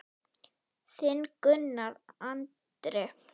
Þinn Gunnar Andri.